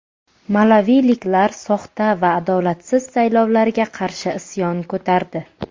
Malaviliklar soxta va adolatsiz saylovlarga qarshi isyon ko‘tardi.